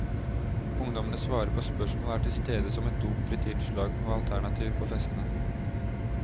Ungdommene svarer på spørsmål og er tilstede som et dopfritt innslag og alternativ på festene.